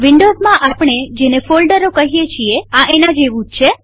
વિન્ડોવ્ઝમાં આપણે ફોલ્ડરો કહીએ છીએ એના જેવું છે